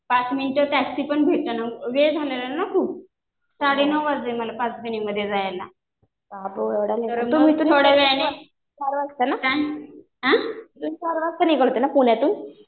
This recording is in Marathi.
पाच मिनटं टॅक्सी पण भेटेना. वेळ झालेला ना खूप. साडे नऊ वाजले मला पाचगणीमध्ये जायला. आ?